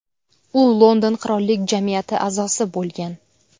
U London Qirollik jamiyati a’zosi bo‘lgan.